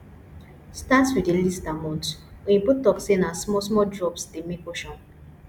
start with the least amount oyibo talk say na small small drops dey make ocean